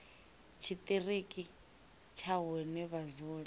tshiṱiriki tsha hune vha dzula